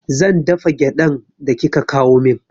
Zan dafa gyaɗan da kika kawo min